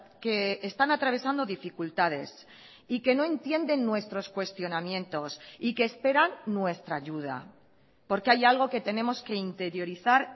que están atravesando dificultades y que no entienden nuestros cuestionamientos y que esperan nuestra ayuda porque hay algo que tenemos que interiorizar